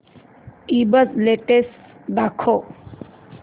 ईबझ लेटेस्ट दाखव